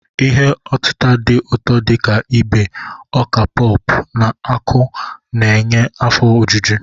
Ihe otita dị ụtọ dị ka ibe, oka popu na akụ na-enye afọ ojuju.